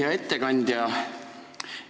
Hea ettekandja!